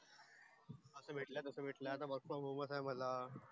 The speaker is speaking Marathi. अस भेटल तास भेटलय आता वोर्क फ्रोम होम च आहे मला